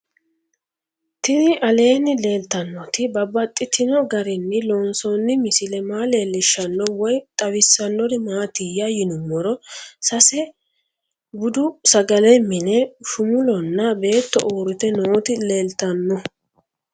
Tinni aleenni leelittannotti babaxxittinno garinni loonsoonni misile maa leelishshanno woy xawisannori maattiya yinummoro sesa budu sagale minne shumulonna beetto uuritte nootti leelittanno